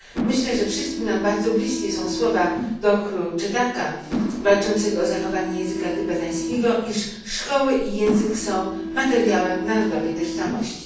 Myślę, że wszystkim nam bardzo bliskie są słowa Dokru Choedaka walczącego o zachowanie języka tybetańskiego, iż szkoły i język są materiałem narodowej tożsamości.